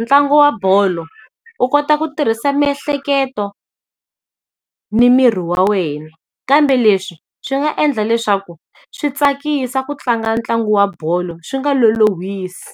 ntlangu wa bolo, u kota ku tirhisa miehleketo ni miri wa wena. Kambe leswi swi nga endla leswaku swi tsakisa ku tlanga ntlangu wa bolo swi nga lolohisi.